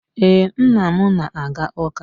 Ee, nna m na-aga ụka.